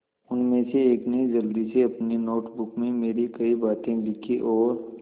उनमें से एक ने जल्दी से अपनी नोट बुक में मेरी कही बातें लिखीं और